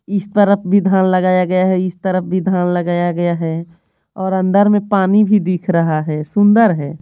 इस तरफ भी धान लगाया गया है इस तरफ भी धान लगाया गया है और अंदर में पानी भी दिख रहा है सुंदर है।